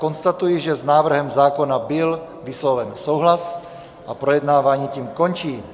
Konstatuji, že s návrhem zákona byl vysloven souhlas a projednávání tím končí.